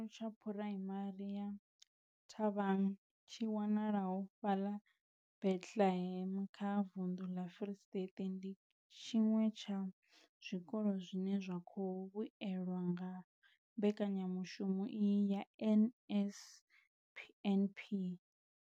Tshikolo tsha Phuraimari ya Thabang tshi wanalaho fhaḽa Bethlehem kha vunḓu ḽa Free State, ndi tshiṅwe tsha zwikolo zwine zwa khou vhuelwa nga mbekanyamushumo iyi ya NSNP.